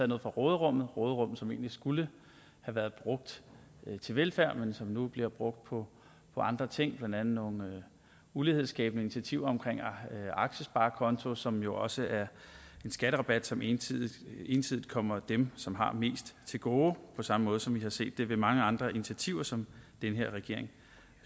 noget fra råderummet råderummet som egentlig skulle have været brugt til velfærd men som nu bliver brugt på andre ting blandt andet nogle ulighedsskabende initiativer omkring en aktiesparekonto som jo også er en skatterabat som ensidigt ensidigt kommer dem som har mest til gode på samme måde som vi har set det ved mange andre initiativer som den her regering